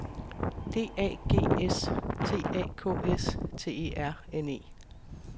D A G S T A K S T E R N E